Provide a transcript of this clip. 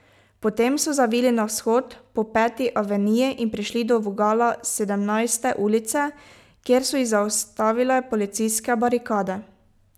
Potem so zavili na vzhod po Peti aveniji in prišli do vogala Sedemnajste ulice, kjer so jih zaustavile policijske barikade.